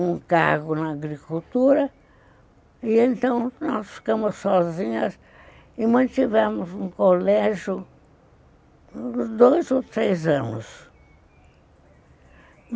um cargo na agricultura, e então nós ficamos sozinhas e mantivemos um colégio por dois ou três anos.